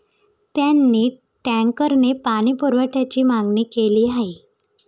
त्यांनी टँकरने पाणीपुरवठ्याची मागणी केली आहे.